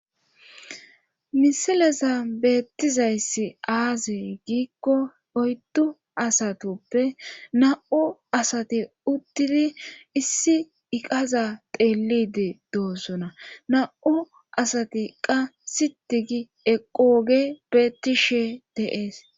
Misileza beettizayssi aaze giikko oyddu asatuppe na'u asati uttidi issi iqaza teelide doosona na'u asatiqa sitigi equoge beettishe deees.